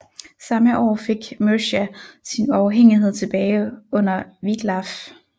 Samme år fik Mercia sin uafhængighed tilbage under Wiglaf